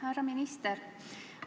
Härra minister!